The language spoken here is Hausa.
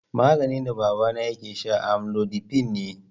Maganin da babana yake sha amlodipine ne.